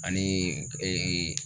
Ani